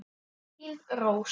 Þín Rós.